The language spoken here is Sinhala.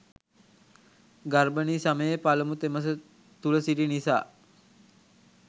ගර්භණී සමයේ පළමු තෙමස තුළ සිටි නිසා